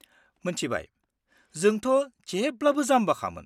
-मोन्थिबाय, जोंथा जेब्लाबो जामबाखामोन।